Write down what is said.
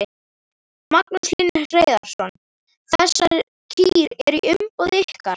Magnús Hlynur Hreiðarsson: Þessar kýr eru í umboði ykkar?